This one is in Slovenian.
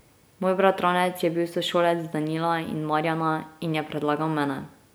Moj bratranec je bil sošolec Danila in Marjana in je predlagal mene.